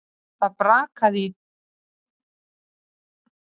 Það brakaði í dívaninum þegar hún kom sér fyrir á bakinu.